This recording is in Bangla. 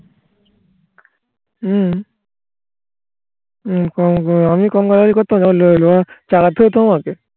হুম আমি কম গালাগালি করতাম